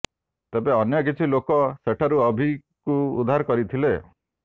ତେବେ ଅନ୍ୟ କିଛି ଲୋକ ସେଠାରୁ ଅଭିଙ୍କୁ ଉଦ୍ଧାର କରିଥିଲେ